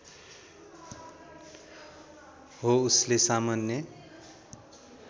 हो उसले सामान्य